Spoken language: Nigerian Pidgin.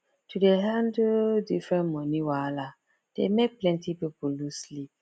to dey handle different money wahala dey make plenty people lose sleep